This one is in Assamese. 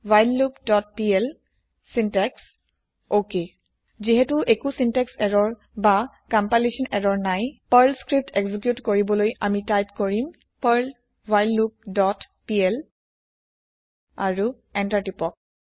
whileloopপিএল চিন্টেক্স অক যিহেতো একো চিন্তেক্স এৰৰ না কম্পাইলেচ্যন এৰৰ নাই পাৰ্ল স্ক্ৰিপ্ত এক্জি্ক্যুত কৰিবলৈ আমি টাইপ কৰিম পাৰ্ল ৱ্হাইললুপ ডট পিএল আৰু এন্তাৰ টিপক